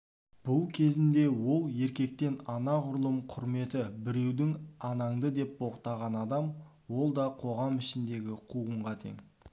бұл кезінде ол еркектен анағұрлым құрметті біреуді анаңды деп боқтаған адам ол да қоғам ішіндегі қуғынға тең